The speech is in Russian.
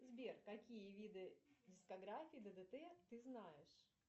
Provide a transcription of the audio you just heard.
сбер какие виды дискографии ддт ты знаешь